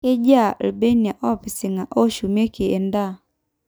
kejiaa irbenia oopisinga oshumieki end`aa